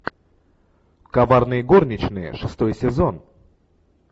коварные горничные шестой сезон